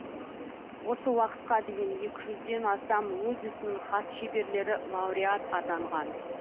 осы уақытқа дейін екі жүзден астам өз ісінің хас шеберлері лауреат атанған